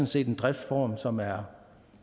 set en driftsform som er